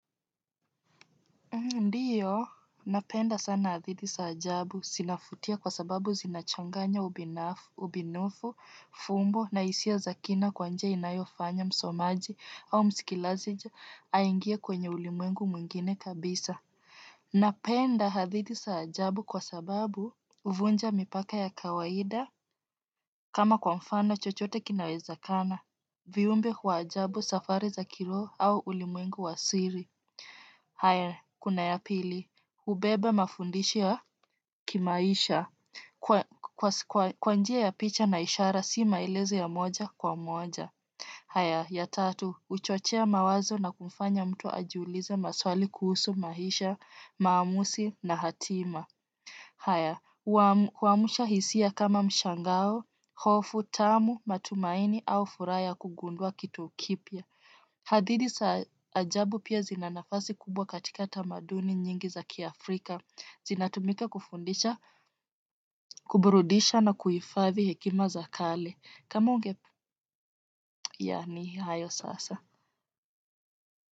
Ndiyo, napenda sana hadithi za ajabu, zinavutia kwa sababu zinachanganya ubunifu, fumbo, na hisia za kina kwa njia inayofanya msomaji au mskilazaji aingie kwenye ulimwengu mwingine kabisa. Napenda hadithi za ajabu kwa sababu huvunja mipaka ya kawaida, kama kwa mfano chochote kinawezekana, viumbe wa ajabu safari za kilroho au ulimwengu wa siri. Haya, kuna ya pili, ubeba mafundisho ya kimaisha, kwa njia ya picha na ishara si maeleze ya moja kwa moja. Haya, ya tatu, uchochea mawazo na kufanya mtu ajiulize maswali kuhusu maisha, maamuzi na hatima. Haya, huamusha hisia kama mshangao, hofu tamu matumaini au furaha ya kugundua kitu kipya. Hadithi za ajabu pia zinanafasi kubwa katikata tamaduni nyingi za kiafrika, zinatumika kufundisha, kuburudisha na kuhifathi hekima za kale. Kama unge ya ni, hayo sasa.